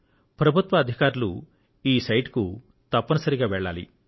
ప్రభుత్వ అధికారులు ఈ సైట్ కు తప్పనిసరిగా వెళ్లాలి